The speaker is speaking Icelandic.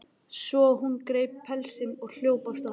Svo hún greip pelsinn og hljóp af stað.